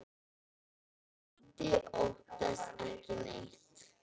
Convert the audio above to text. Otti óttast ekki neitt!